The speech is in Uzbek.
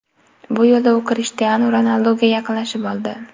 Bu yo‘lda u Krishtianu Ronalduga yaqinlashib oldi.